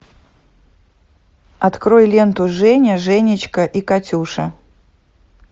открой ленту женя женечка и катюша